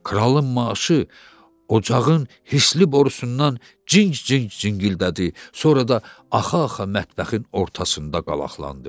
Kralın maaşı ocağın hisli borusundan cinc-cinc zingildədi, sonra da axa-axa mətbəxin ortasında qalaqlandı.